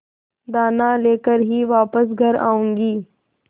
दाना लेकर ही वापस घर आऊँगी